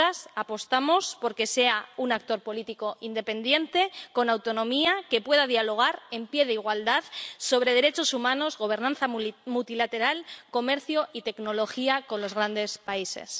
Nosotras apostamos por que sea un actor político independiente, con autonomía, que pueda dialogar en pie de igualdad sobre derechos humanos, gobernanza multilateral, comercio y tecnología con los grandes países.